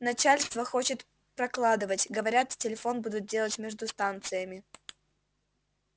начальство хочет прокладывать говорят телефон будут делать между станциями